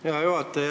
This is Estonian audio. Hea juhataja!